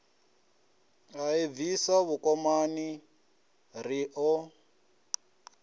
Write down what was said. a ḓibvisa vhukomani ri ḓo